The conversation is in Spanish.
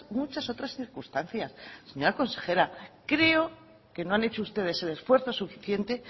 muchas otras circunstancias señora consejera creo que no han hecho ustedes el esfuerzo suficiente